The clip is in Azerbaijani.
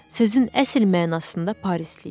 Sözün əsl mənasında parisli idi.